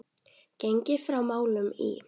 Gengið frá málum í